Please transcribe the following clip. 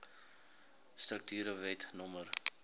strukture wet no